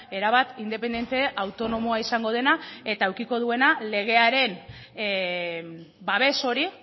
erabat independente autonomoa izango dena eta edukiko duena legearen babes hori